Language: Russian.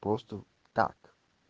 просто так